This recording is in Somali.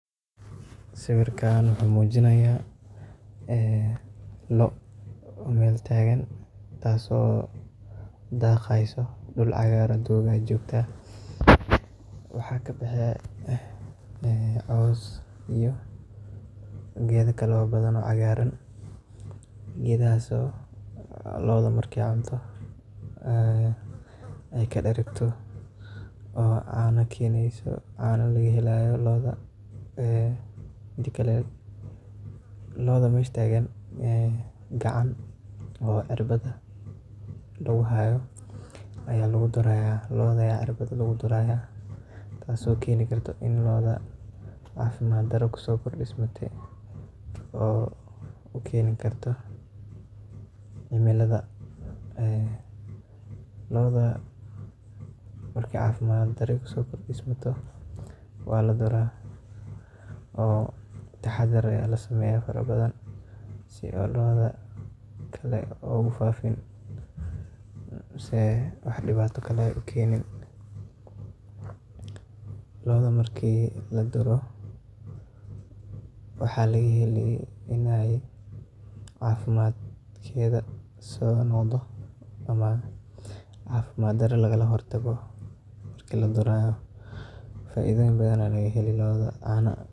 Sawirkaan waxa uu muujinaya Lo' Meel taagan taaso daaqeyso dhul cagaar ah joogta waxa ka baxeen een cows iyo geedo kalo badan o caagarangeedahasoo lo'da markey cunto ay ka dharagto caanokeneyso, caano laga helayo lo'da , midakale lo'da meesha taagan gacan oo cirbad lagu haayo aya lgu durayo, lo'da aya cirbad lagu duraya taas keeni karta in lo'da cafimaad daro kuso kordhismate oo u keeni karto cimilada , lo'da markey cafimaaddaro kuso kordhasmato wala dura oo taxadar ayaa la sameeya faro badan si lo'da kale ugu faafin si ay wax dhibaato kale ah u keenin, lo'da marka la duro waxa laga heli in cafimaadka so noqodo ama cafimaad daro lagala hortago marki la duraayo faaidoyin badan aya laga heli caano.